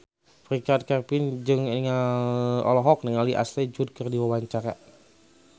Richard Kevin olohok ningali Ashley Judd keur diwawancara